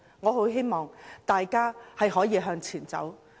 我希望大家能夠向前走。